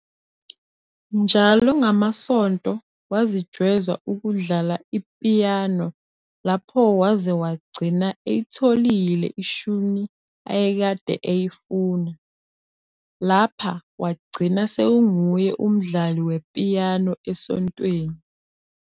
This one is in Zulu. Njalo ngamaSonto wazijweza ukudlala ipiyano lapho waze wagcina eyitholile ishuni ayakade eyifuna, lapha wagcina sekunguye umdlali wepiyano esontweni